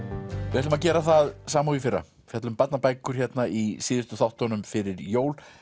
við ætlum að gera það sama og í fyrra fjalla um barnabækur í síðustu þáttunum fyrir jól